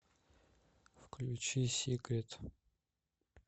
включи сикрет